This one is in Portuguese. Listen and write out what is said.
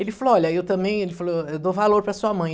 Ele falou, olha, eu também ele falou, eu dou valor para sua mãe.